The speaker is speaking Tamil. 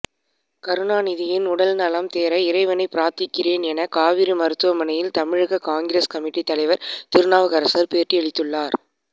கருணாநிதியின் உடல் நலம் தேற இறைவனை பிரார்த்திக்கிறேன் என காவேரி மருத்துவமனையில் தமிழக காங்கிரஸ் கமிட்டி தலைவர் திருநாவுக்கரசர் பேட்டியளித்துள்ளார்